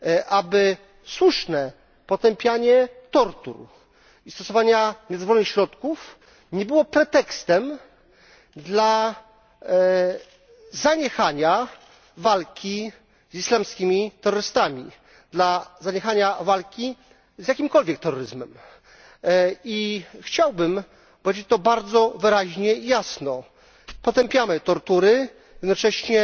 aby słuszne potępianie tortur i stosowania niedozwolonych środków nie było pretekstem do zaniechania walki z islamskimi terrorystami, do zaniechania walki z jakimkolwiek terroryzmem. Chciałbym powiedzieć to bardzo wyraźnie i jasno, potępiamy tortury, jednocześnie